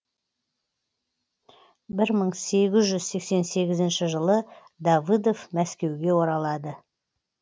бір мың сегіз жүз сексен сегізінші жылы давыдов мәскеуге оралады